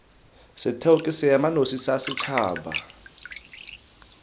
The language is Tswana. setheo ke seemanosi sa setšhaba